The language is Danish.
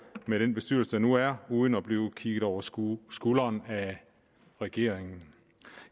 med den bestyrelse der nu er uden at den bliver kigget over skulderen skulderen af regeringen